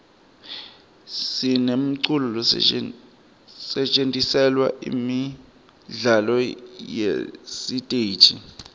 sinemiculo lesetjentiselwa imidlalo yesiteji